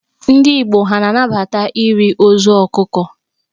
Ndị Igbo ha a na-anabata iri ozu ọkụkọ?